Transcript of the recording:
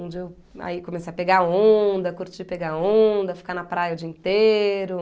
Onde eu aí comecei a pegar onda, curti pegar onda, ficar na praia o dia inteiro.